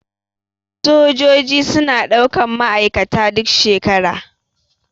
Sojaji suna ɗaukan ma aikata duk shekara.